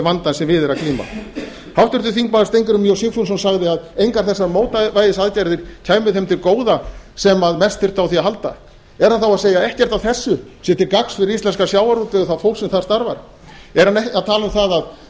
vandann sem við er að glíma háttvirtur þingmaður steingrímur j sigfússon sagði að engar þessar mótvægisaðgerðir kæmu þeim til góða sem mest þyrftu á því að halda er hann þá að segja að ekkert af þessu sé til gagns fyrir íslenskan sjávarútveg og það fólk sem þar starfar er hann tala um það að